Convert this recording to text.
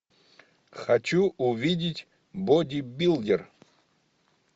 хочу увидеть бодибилдер